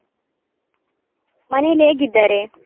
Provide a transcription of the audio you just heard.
ಮನೆಯಲ್ಲಿ ಹೇಗಿದ್ದಾರೆ?